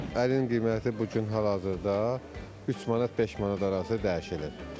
Ərinin qiyməti bu gün hal-hazırda 3 manat 5 manat arası dəyişilir.